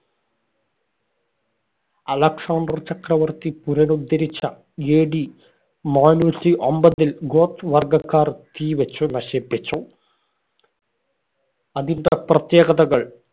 Alexander ചക്രവർത്തി പുനരുദ്ധരിച്ച AD നാനൂറ്റി അമ്പതില്‍ ഗോത്ത് വർഗ്ഗക്കാർ തീ വച്ചു നശിപ്പിച്ചു. അതിന്‍റെ പ്രത്യേകതകള്‍.